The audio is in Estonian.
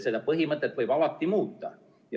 Seda põhimõtet võib alati muuta.